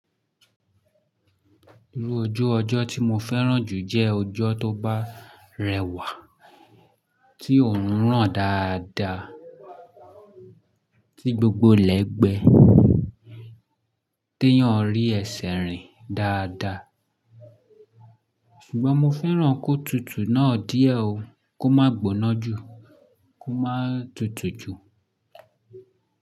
Irú ojú ọjọ́ tí mo fẹ́ràn jù jẹ́ ọjọ́ tó bá rẹwà, tí oòrùn rán dáadáa, tí gbogbo lẹ́gbẹ́ te éèyàn rí ẹsẹ̀ rìn dáadáa. Ṣùgbọ́n mo fẹ́ràn kó tutù náà díẹ̀ ó, kó má gbóná jù, kó má tutù jù.